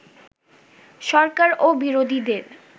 সরকার ও বিরোধীদের